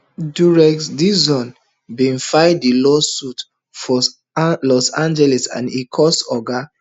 derek dixon bin file di lawsuit for los angeles and e accuse oga